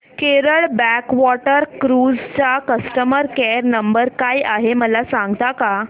Kerala backwater cruise चा customer care number काय आहे मला सांगता का